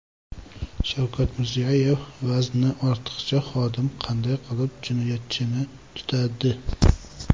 Shavkat Mirziyoyev: Vazni ortiqcha xodim qanday qilib jinoyatchini tutadi?